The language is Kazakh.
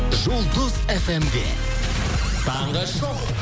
жұлдыз фм де таңғы шоу